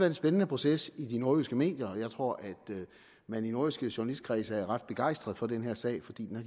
en spændende proces i nordjyske medier og jeg tror at man i nordjyske journalistkredse er ret begejstret for den her sag fordi den